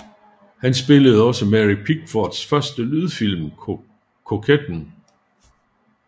Han filmede også Mary Pickfords første lydfilm Koketten